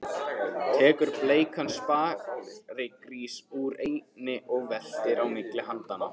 Tekur bleikan sparigrís úr einni og veltir á milli handanna.